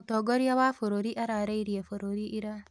Mũtongoria wa bũrũri araarĩirie bũrũri ira.